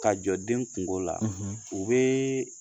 Ka jɔ den kungo la, u bɛ